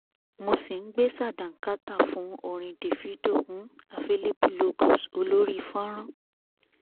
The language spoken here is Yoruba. mo sì ń ń gbé sàdáńkátà fún orin davido un available logos olórí fonran